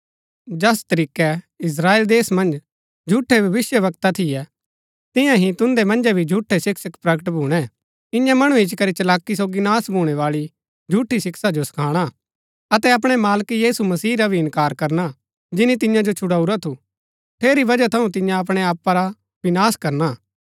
जैस तरीकै इस्त्राएल देश मन्ज झूठै भविष्‍यवक्ता थियै तिन्या ही तुन्दै मन्जै भी झूठै शिक्षक प्रकट भूणै इन्या मणु इच्ची करी चलाकी सोगी नाश भूणैबाळी झूठी शिक्षा जो सखाणा अतै अपणै मालक यीशु मसीह रा भी इनकार करना जिनी तिन्या जो छुड़ाऊरा थू ठेरी वजह थऊँ तिन्या अपणै आपा रा विनाश करना हा